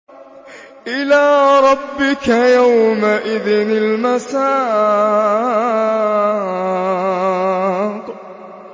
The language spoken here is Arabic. إِلَىٰ رَبِّكَ يَوْمَئِذٍ الْمَسَاقُ